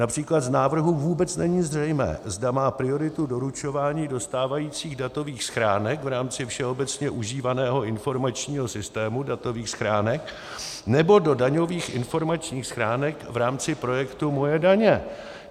Například z návrhu vůbec není zřejmé, zda má prioritu doručování do stávajících datových schránek v rámci všeobecně užívaného informačního systému datových schránek, nebo do daňových informačních schránek v rámci projektu Moje daně.